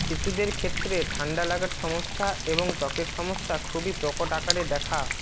শিশুদের ক্ষেত্রে ঠান্ডা লাগার সমস্যা এবং ত্বকের সমস্যা খুবই প্রকট আকারে দেখা